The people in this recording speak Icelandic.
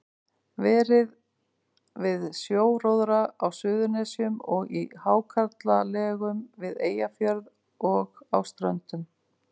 Verið við sjóróðra á Suðurnesjum og í hákarlalegum við Eyjafjörð og á Ströndum.